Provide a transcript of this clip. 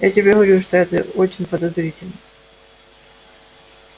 я тебе говорю что это очень подозрительно